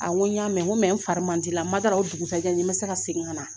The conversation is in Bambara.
A n ko n y'a mɛn n ko n fari man di n la man d'a la o dugusajɛ ni n ma se ka segin ka na